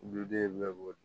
Duden bɛɛ b'o de